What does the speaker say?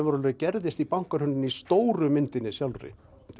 gerðist í bankahruninu í stóru myndinni sjálfri